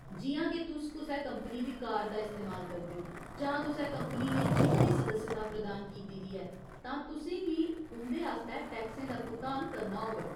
जि'यां, के तुस कुसै कंपनी दी कार दा इस्तेमाल करदे ओ जां कुसै कंपनी ने जिम दी सदस्यता प्रदान कीती दी ऐ, तां तुसें गी उं'दे आस्तै टैक्सें दा भुगतान करना होग।